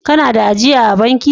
Kana da ajia a'banki?